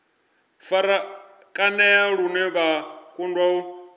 farakanea lune vha kundwa u